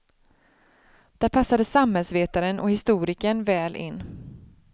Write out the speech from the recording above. Där passade samhällsvetaren och historikern väl in.